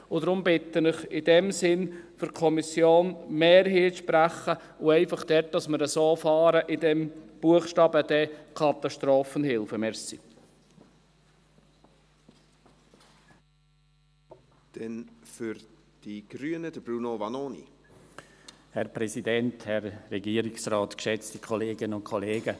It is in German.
Und deshalb bitte ich Sie in diesem Sinne für die Kommissionsmehrheit zu sprechen, einfach damit wir dort, mit diesem Buchstaben d «Katastrophenhilfe» auch so fahren.